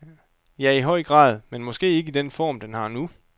Ja, i høj grad, men måske ikke i den form den har nu.